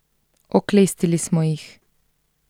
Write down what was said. Oklestili smo jih.